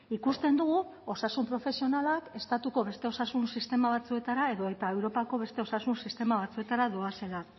ikusten dugu osasun profesionalak estatuko beste osasun sistema batzuetara edota europako beste osasun sistema batzuetara doazela